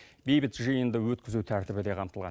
бейбіт жиынды өткізу тәртібі де қамтылған